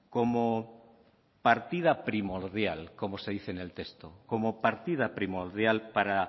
como partida primordial como se dice en el texto como partida primordial para